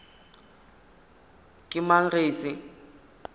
ke mang ge e se